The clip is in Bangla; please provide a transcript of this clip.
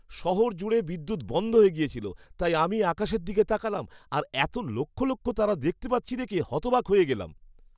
শহর জুড়ে বিদ্যুৎ বন্ধ হয়ে গিয়েছিল, তাই আমি আকাশের দিকে তাকালাম, আর এত লক্ষ লক্ষ তারা দেখতে পাচ্ছি দেখে হতবাক হয়ে গেলাম।